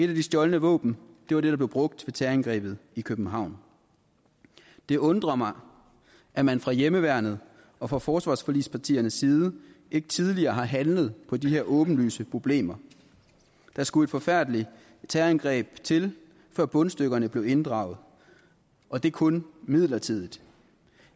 de stjålne våben var det der blev brugt ved terrorangrebet i københavn det undrer mig at man fra hjemmeværnet og fra forsvarsforligspartiernes side ikke tidligere har handlet på de her åbenlyse problemer der skulle et forfærdeligt terrorangreb til før bundstykkerne blev inddraget og det er kun midlertidigt